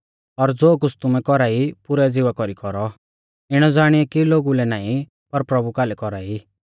और ज़ो कुछ़ तुमै कौरा ई पुरै ज़िवा कौरी कौरौ इणौ ज़ाणीयौ कि लोगु लै नाईं पर प्रभु कालै कौरा ई